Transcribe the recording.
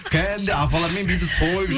кәдімгідей апалармен биді сойып жүр